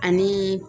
Ani